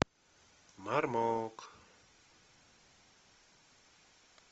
мармок